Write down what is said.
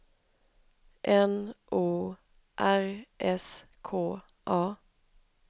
N O R S K A